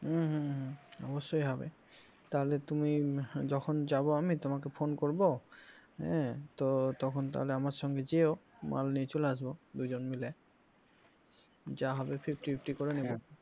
হম হম হম অবশ্যই হবে তাহলে তুমি যখন যাব আমি তোমাকে phone করব হ্যাঁ তো তখন তাহলে আমার সঙ্গে যেও মাল নিয়ে চলে আসবে দুজন মিলে যা হবে fifty fifty করে নেব।